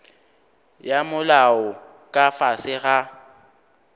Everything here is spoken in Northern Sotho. ya molao ka fase ga